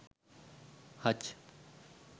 hutch